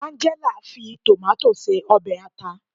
Angela fi tomato se obe ata